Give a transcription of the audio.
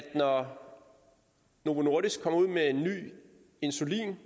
når novo nordisk kommer ud med en ny insulin